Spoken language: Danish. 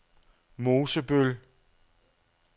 Mosebøl